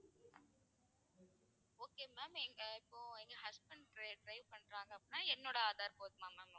okay ma'am எங்க இப்போ எங்க husband drive drive பண்றாங்கன்னா என்னோட ஆதார் போதுமா ma'am